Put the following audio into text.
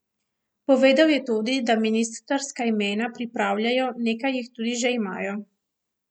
Povedal je tudi, da ministrska imena pripravljajo, nekaj jih tudi že imajo.